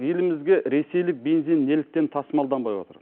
елімізге ресейлік бензин неліктен тасымалданбай отыр